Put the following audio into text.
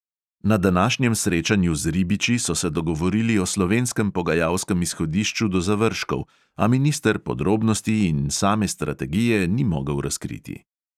Na današnjem srečanju z ribiči so se dogovorili o slovenskem pogajalskem izhodišču do zavržkov, a minister podrobnosti in same strategije ni mogel razkriti.